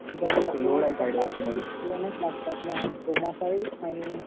आणि त्याला दोनच लागतात ना आणि